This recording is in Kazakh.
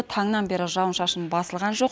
таңнан бері жауын шашын басылған жоқ